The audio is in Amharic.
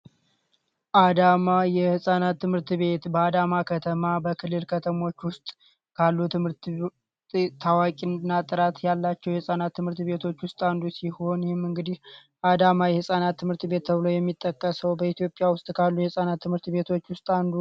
አዳማ የህፃናት ትምህርት ቤት በአዳማ ከተማ በክልል ካሉ ትምህርት ቤቶች ውስጥ የህፃናት ትምህርት ቤቶች ውስጥ አንዱ ሲሆን ይህም እንግዲህ አዳማ የህፃናት ትምህርት ቤት ተብሎ የሚጠራ ሲሆን በኢትዮጲያ ውስጥ ካሉ የህፃናት ትምህርት ቤቶች ውስጥ አንዱ ነው።